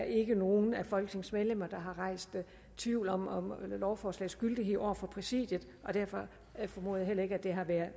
ikke er nogen af folketingets medlemmer der har rejst tvivl om lovforslagets gyldighed over for præsidiet og derfor formoder jeg heller ikke at det har været